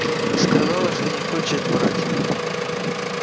сказала что не хочет врать